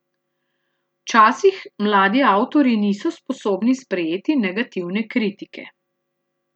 Včasih mladi avtorji niso sposobni sprejeti negativne kritike.